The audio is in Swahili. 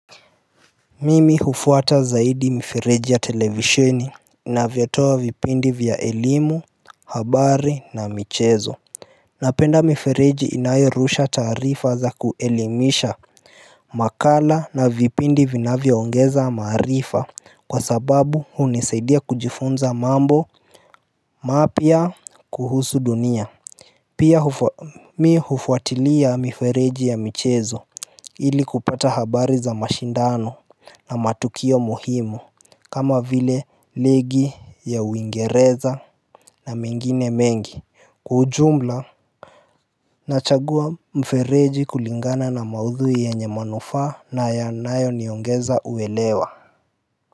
Mimi hufuata zaidi mifereji ya televisheni inavyotoa vipindi vya elimu, habari na michezo Napenda mifereji inayorusha taarifa za kuelimisha makala na vipindi vinavyoongeza maarifa kwa sababu hunisaidia kujifunza mambo mapya kuhusu dunia Pia mi hufuatilia mifereji ya michezo ili kupata habari za mashindano na matukio muhimu kama vile ligi ya uingereza na mengine mengi. Kwa ujumla nachagua mfereji kulingana na maudhui yenye manufaa na yanayoniongeza uelewa.